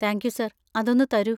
Thank you, sir, അതൊന്ന് തരൂ.